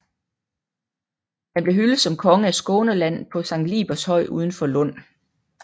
Han blev hyldet som konge af Skåneland på Sankt Libers høj uden for Lund